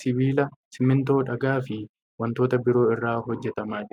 sibiila, simiintoo, dhagaa fi wantoota biroo irraa hojjatamaa jira.